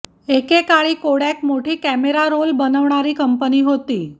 एके काळी कोडॅक मोठी कॅमेरा रोल बनवणारी कंपनी होती